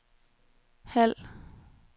halv